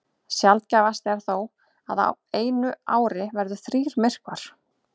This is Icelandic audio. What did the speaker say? Sjaldgæfast er þó að á einu ári verði þrír myrkvar.